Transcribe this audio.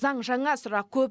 заң жаңа сұрақ көп